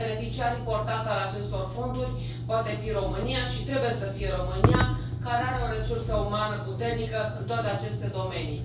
Un beneficiar important al acestor fonduri poate fi România și trebuie să fie România, care are o resursă umană puternică în toate aceste domenii.